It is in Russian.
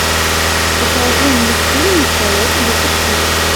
покажи мультфильм настоящий детектив